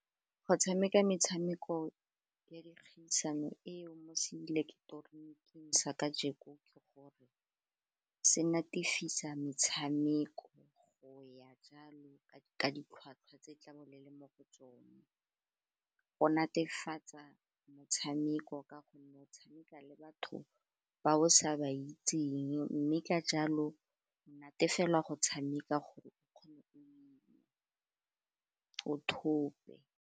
Go tshameka metshameko ya dikgaisano eo mo seileketoroniking sa kajeko, ke gore se natefeseng metshameko go ya jalo ka ditlhwatlhwa tse tlabo le le mo go tsone, go netefatsa motshameko ka gonne o tshameka le batho ba o sa ba itseng mme ka jalo o natefela go tshameka gore o kgone gore o thope.